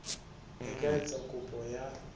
a ka etsa kopo ya